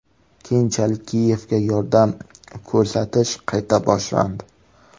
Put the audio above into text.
Keyinchalik Kiyevga yordam ko‘rsatish qayta boshlandi.